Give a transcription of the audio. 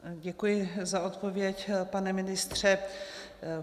Děkuji za odpověď, pane ministře.